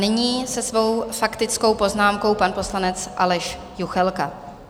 Nyní se svou faktickou poznámkou pan poslanec Aleš Juchelka.